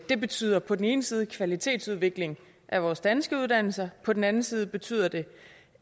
det betyder på den ene side kvalitetsudvikling af vores danske uddannelser og på den anden side betyder det